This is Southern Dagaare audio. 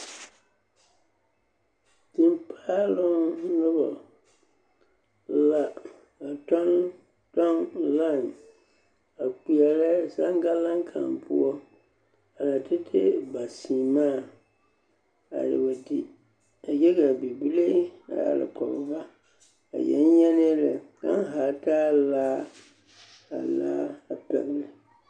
Tempaaloŋ noba la a kyɔɡekyɔɡe lai a kpeɛrɛ zaŋɡalaŋ kaŋ poɔ a tɛtɛ ba seɛmaa a wa di kyɛ ka bibile a arekɔɡe ba a yɛŋyɛŋɛɛ lɛ kaŋa ha taa laa ka a laa pɛɡele.